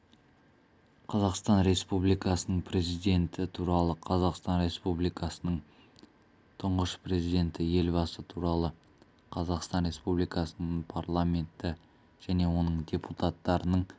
қазақстан республикасының президенті туралы қазақстан республикасының тұңғыш президенті елбасы туралы қазақстан республикасының парламенті және оның депутаттарының